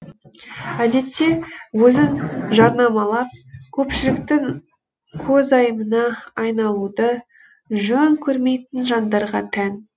әдетте өзін жарнамалап көпшіліктің көзайымына айналуды жөн көрмейтін жандарға тән